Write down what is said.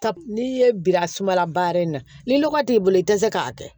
Ka n'i ye bira sumala baara in na ni lɔgɔ t'i bolo i tɛ se k'a kɛ